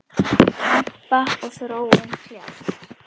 Kempa og Þróun kljást.